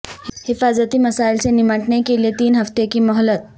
حفاظتی مسائل سے نمٹنے کے لیے تین ہفتے کی مہلت